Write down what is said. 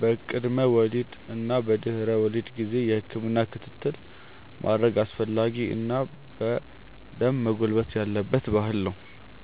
በቅድመ ወሊድ እና በድህረ ወሊድ ጊዜ የህክምና ክትትል ማድረግ አስፈላጊ እና በደንብ መጎልበት ያለበት ባህል ነው።